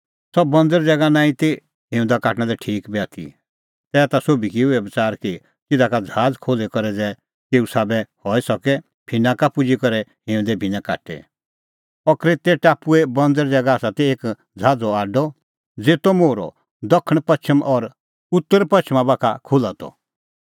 सह बंज़र ज़ैगा नांईं ती हिंऊंदा काटणा लै ठीक बी आथी तैहीता सोभी किअ इहअ बच़ार कि तिधा का ज़हाज़ खोल्ही करै ज़ै केऊ साबै हई सके फिनाका पुजी करै हिंऊंदे भिन्नैं काटे अह क्रेतै टापुए बंज़र ज़ैगा आसा ती एक ज़हाज़ो आडअ ज़ेतो मोहरअ दखणपछ़म और उतरपछ़मा बाखा खुल्हा त